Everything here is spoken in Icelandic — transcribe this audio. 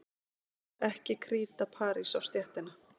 Ekki kríta parís á stéttina.